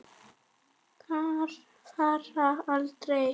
Þær fara aldrei.